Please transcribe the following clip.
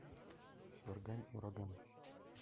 сваргань ураган